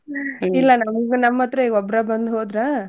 ಇಲ್ಲ ನಮ್ ಹತ್ರ ಇವ ಒಬ್ರ ಬಂದ್ ಹೋದ್ರ.